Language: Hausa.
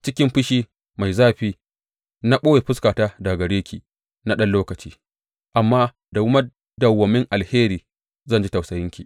Cikin fushi mai zafi na ɓoye fuskata daga gare ki na ɗan lokaci, amma da madawwamin alheri zan ji tausayinki,